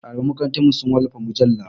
Ɗaliban makarantarmu su wallafa mujalla.